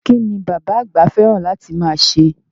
Kín ni bàbá àgbà fẹ́ràn láti máa ṣe?